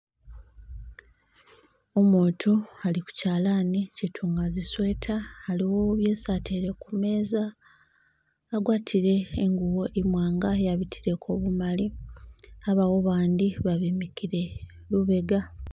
Umutu ali kuchalani chitunga zi sweater, aliwo byesi atele kumeeza , agwatile ingubo imwanga yabitileko bimali abawo abandi babemikile lubega.